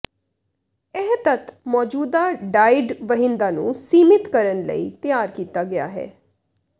ਇਹ ਤੱਤ ਮੌਜੂਦਾ ਡਾਇਡ ਵਹਿੰਦਾ ਨੂੰ ਸੀਮਿਤ ਕਰਨ ਲਈ ਤਿਆਰ ਕੀਤਾ ਗਿਆ ਹੈ